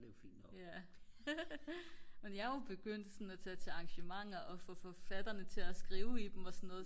men jeg er jo begyndt sådan at tage til arrangementer og få forfatterne til at skrive i dem og så noget